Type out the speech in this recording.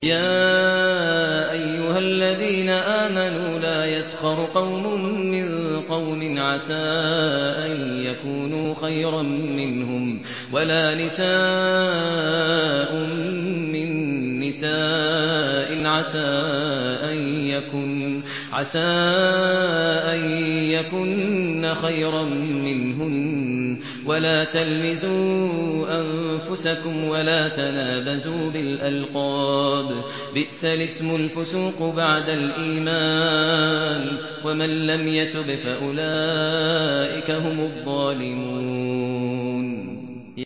يَا أَيُّهَا الَّذِينَ آمَنُوا لَا يَسْخَرْ قَوْمٌ مِّن قَوْمٍ عَسَىٰ أَن يَكُونُوا خَيْرًا مِّنْهُمْ وَلَا نِسَاءٌ مِّن نِّسَاءٍ عَسَىٰ أَن يَكُنَّ خَيْرًا مِّنْهُنَّ ۖ وَلَا تَلْمِزُوا أَنفُسَكُمْ وَلَا تَنَابَزُوا بِالْأَلْقَابِ ۖ بِئْسَ الِاسْمُ الْفُسُوقُ بَعْدَ الْإِيمَانِ ۚ وَمَن لَّمْ يَتُبْ فَأُولَٰئِكَ هُمُ الظَّالِمُونَ